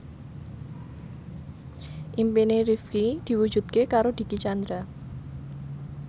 impine Rifqi diwujudke karo Dicky Chandra